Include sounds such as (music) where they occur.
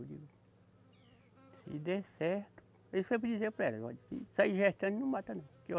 (unintelligible) Se der certo, eu sempre dizia para ela, olha, se sair gestante não mata não.